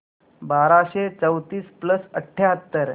बाराशे चौतीस प्लस अठ्याहत्तर